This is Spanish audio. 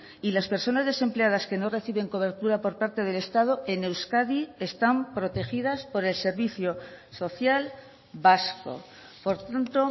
y las personas desempleadas que no reciben cobertura por parte del estado en euskadi están protegidas por el servicio social vasco por tanto